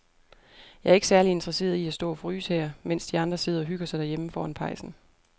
Jeg er ikke særlig interesseret i at stå og fryse her, mens de andre sidder og hygger sig derhjemme foran pejsen.